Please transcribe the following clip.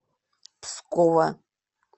пскова